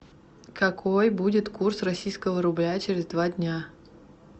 какой будет курс российского рубля через два дня